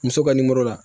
Muso ka nimoro la